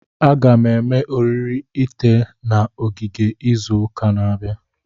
Aga m eme oriri ite na ogige izu ụka na-abịa.